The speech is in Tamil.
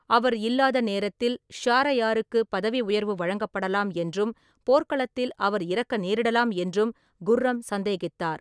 அவர் இல்லாத நேரத்தில் ஷாரயாருக்குப் பதவி உயர்வு வழங்கப்படலாம் என்றும் போர்க்களத்தில் அவர் இறக்க நேரிடலாம் என்றும் குர்ரம் சந்தேகித்தார்.